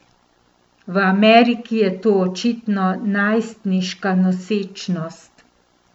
V Ameriki je to očitno najstniška nosečnost.